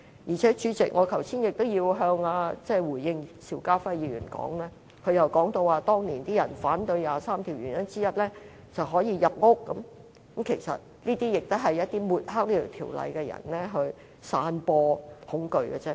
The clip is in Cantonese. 再者，主席，我也要回應邵家輝議員剛才的發言，他說當年有人反對第二十三條立法的原因之一就是可以入屋，其實這些也是想抹黑這項條例的人散播恐懼的手法。